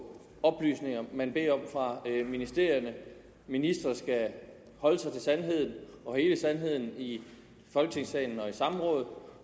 oplysninger man beder om fra ministerierne at ministre skal holde sig til sandheden og hele sandheden i folketingssalen og i samråd